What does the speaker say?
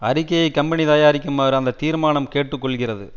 அறிக்கையை கம்பெனி தயாரிக்குமாறு அந்த தீர்மானம் கேட்டுக்கொள்கிறது